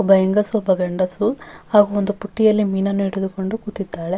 ಮತ್ತು ತುಂಬಾ ಜಜನಗಳೂ ಮೀನನ್ನು ಆ ತೊಗೊಳಕ್ಕೆ ಬಂದಿದ್ದಾರೆ.